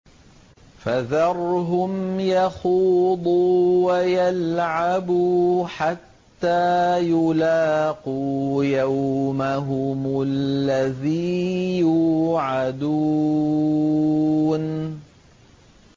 فَذَرْهُمْ يَخُوضُوا وَيَلْعَبُوا حَتَّىٰ يُلَاقُوا يَوْمَهُمُ الَّذِي يُوعَدُونَ